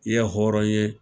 I ye hɔrɔn ye.